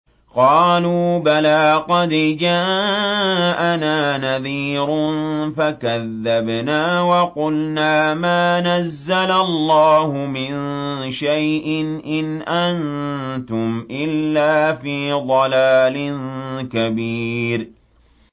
قَالُوا بَلَىٰ قَدْ جَاءَنَا نَذِيرٌ فَكَذَّبْنَا وَقُلْنَا مَا نَزَّلَ اللَّهُ مِن شَيْءٍ إِنْ أَنتُمْ إِلَّا فِي ضَلَالٍ كَبِيرٍ